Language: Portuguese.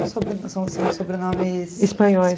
são são sobrenomes... Espanhóis.